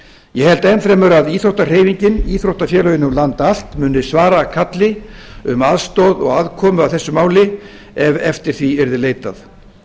ég held enn fremur að íþróttahreyfingin íþróttafélögin um land allt muni svara kalli um aðstoð og aðkomu að þessu máli ef eftir því yrði leitað